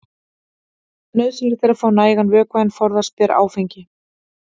Nauðsynlegt er að fá nægan vökva en forðast ber áfengi.